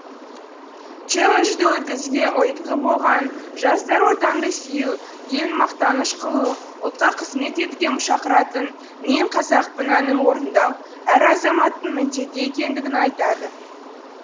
челленджді өткізуге ұйытқы болған жастар отанды сүю елін мақтаныш қылу ұлтқа қызмет етуге шақыратын мен қазақпын әнін орындау әр азаматтың міндеті екендігін айтады